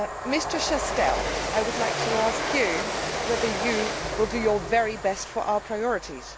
Mr Chastel, I would like to ask you whether you will do your very best for our priorities.